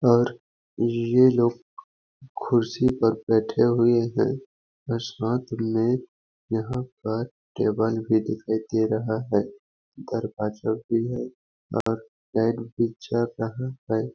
और ये लोग खुर्सी (कुर्सी) पर बैठे हुए है और साथ में यहाँ पर टेबल भी दिखाई दे रहा है दरवाजे भी है पर चल रहा हैं।